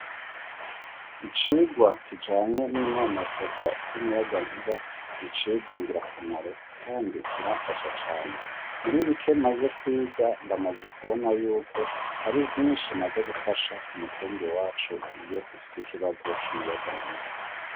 Icigwa kijanye n'inonosogwa ry'umuyagankuba n'icigwa ngirakamaro Kandi kiranfasha cane, muribike maze kwiga ndamaze kubona yuko hari vyinshi maze gufasha k'umutumba iwacu iyo dufise ikibazo c'umuyaga nkuba.